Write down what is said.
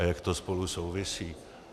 A jak to spolu souvisí.